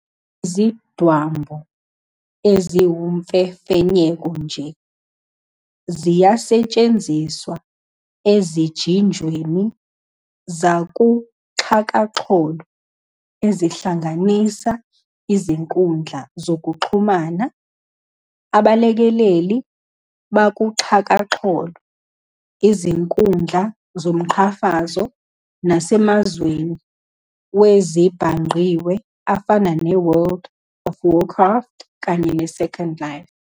Izidwambu, eziwumfefenyeko nje, ziyasetshenziswa ezijinjweni zakuxhakaxholo ezihlanganisa izinkundla zokuxhumana, abalekeleli bakuxhakaxholo, izinkundla zomqhafazo, nasemazweni wezezibhangqiwe afana ne-"World of Warcraft" kanye ne-"Second Life".